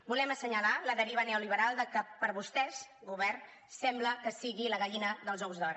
volem assenyalar la deriva neoliberal del que per vostès govern sembla que sigui la gallina dels ous d’or